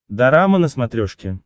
дорама на смотрешке